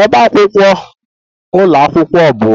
Ọbá akwụkwọ ụlọ akwụkwọ bụ